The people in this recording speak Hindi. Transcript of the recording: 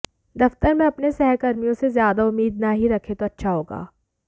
दफ्तर में अपने सहकर्मियों से ज्यादा उम्मीद ना ही रखें तो अच्छा होगा